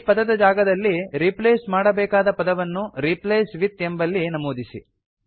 ಈ ಪದದ ಜಾಗದಲ್ಲಿ ರೀಪ್ಲೇಸ್ ಮಾಡಬೇಕಾದ ಪದವನ್ನು ರಿಪ್ಲೇಸ್ ವಿತ್ ಎಂಬಲ್ಲಿ ನಮೂದಿಸಿ